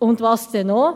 Und was denn noch?